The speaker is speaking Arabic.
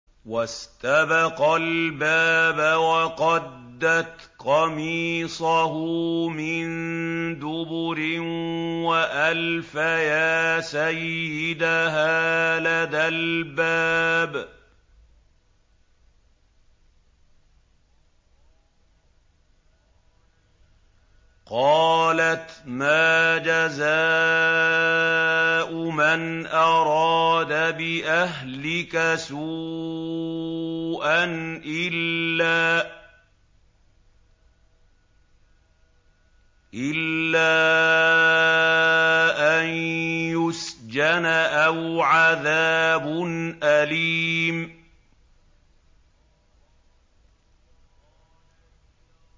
وَاسْتَبَقَا الْبَابَ وَقَدَّتْ قَمِيصَهُ مِن دُبُرٍ وَأَلْفَيَا سَيِّدَهَا لَدَى الْبَابِ ۚ قَالَتْ مَا جَزَاءُ مَنْ أَرَادَ بِأَهْلِكَ سُوءًا إِلَّا أَن يُسْجَنَ أَوْ عَذَابٌ أَلِيمٌ